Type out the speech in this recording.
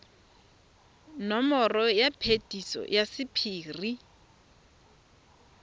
nomoro ya phetiso ya sephiri